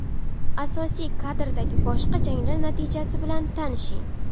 Asosiy kardagi boshqa janglar natijasi bilan tanishing: !